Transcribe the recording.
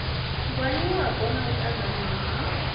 ngwaniwapo na u ṱanganywa ha